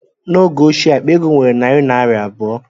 N'oge ochie, akpa ego nwere narị naira abụọ